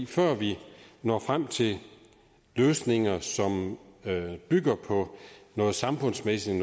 før vi når frem til løsninger som bygger på noget samfundsmæssigt